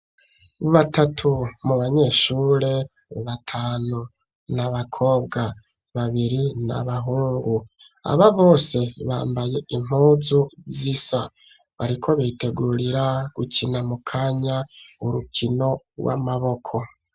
Batatu mu banyeshuri batanu, n'abakobwa babiri n'abahungu, aba bose bambaye impunzu zisa, bariko bitegurira gukina mu kanya urukino rw'amaboko.